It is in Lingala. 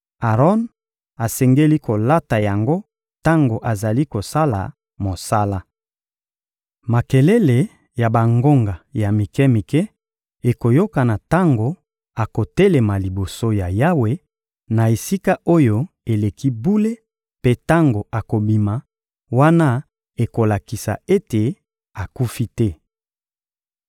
Aron asengeli kolata yango tango azali kosala mosala. Makelele ya bangonga ya mike-mike ekoyokana tango akotelema liboso ya Yawe na Esika-Oyo-Eleki-Bule mpe tango akobima; wana ekolakisa ete akufi te.